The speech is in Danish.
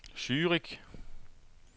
Zürich